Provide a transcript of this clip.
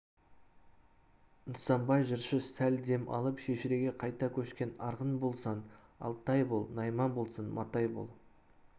нысанбай жыршы сәл дем алып шежіреге қайта көшкен арғын болсаң алтай бол найман болсаң матай бол